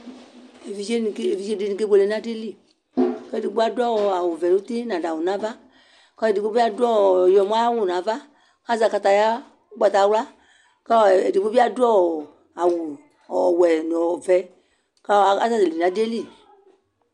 eʋɩɗjeɗɩnɩ aƙeɓʊele nʊ aɗɩlɩ eɗɩgbo aɗʊ ʊgo ɔʋɛ nʊtɩ ɔnaɗʊ awʊ taa ɔlʊeɗɩgɓoɓɩ aɗʊ awʊ ɔƴɔmɔsʊ azɛ aƙataƴa ʊgbatawlʊa ɔlʊeɗɩgɓo ɓɩaɗʊ awʊ ɔwɛ atanɩ aƙasɛlɩƙalɩɗʊ nʊ aɗɩƴɛlɩ